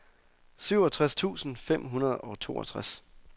syvogtres tusind fem hundrede og toogtres